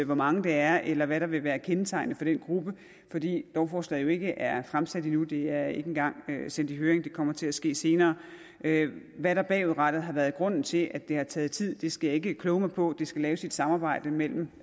hvor mange det er eller hvad der vil være kendetegnende for den gruppe fordi lovforslaget jo ikke er fremsat endnu det er ikke engang sendt i høring det kommer til at ske senere hvad der bagudrettet har været grunden til at det har taget tid skal jeg ikke kloge mig på det skal laves i et samarbejde mellem